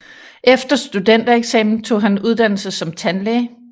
Efter studentereksamen tog han uddannelse som tandlæge